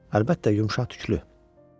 Əlbəttə, yumşaq tüklü.